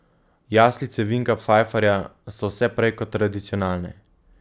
Jaslice Vinka Pfajfarja so vse prej kot tradicionalne.